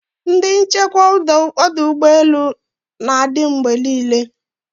Ndi nchekwa ọdụ ụgbọ elu na-adị mgbe niile